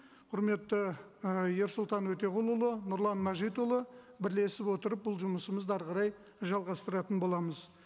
құрметті і ерсұлтан өтеғұлұлы нұрлан мәжитұлы бірлесіп отырып бұл жұмысымызды әрі қарай жалғастыратын боламыз